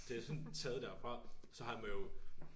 Det sådan taget derfra så han har må jo